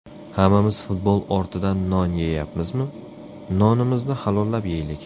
Hammamiz futbol ortidan non yeyapmizmi, nonimizni halollab yeylik.